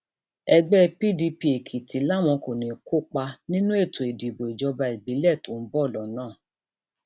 ẹgbẹ pdp èkìtì làwọn kò ní í kópa nínú ètò ìdìbò ìjọba ìbílẹ tó ń bọ lọnà